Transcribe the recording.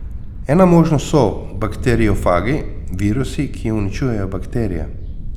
Ena možnost so bakteriofagi, virusi, ki uničujejo bakterije.